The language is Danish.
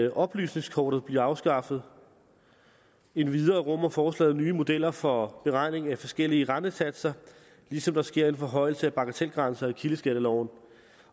at oplysningskortet bliver afskaffet endvidere rummer forslaget nye modeller for beregning af forskellige rentesatser ligesom der sker en forhøjelse af bagatelgrænser i kildeskatteloven